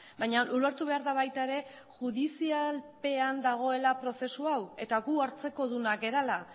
baina ulertu behar da baita ere judizialpean dagoela prozesu hau eta gu hartzekodunak garela